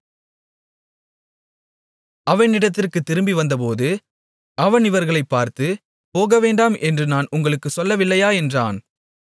எரிகோவிலிருந்த அவனிடத்திற்குத் திரும்பிவந்தபோது அவன் இவர்களைப் பார்த்து போகவேண்டாம் என்று நான் உங்களுக்குச் சொல்லவில்லையா என்றான்